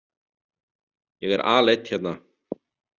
Ég er aleinn hérna.